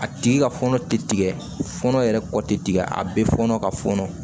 A tigi ka fɔnɔ tɛ tigɛ fɔnɔ yɛrɛ kɔ tɛ tigɛ a bɛ fɔɔnɔ ka fɔnɔ